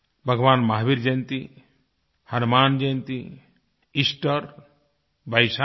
भगवान महावीर जयंती हनुमान जयंती ईस्टर वैसाखी